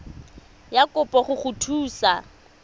ya kopo go go thusa